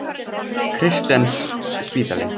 Kristnesspítali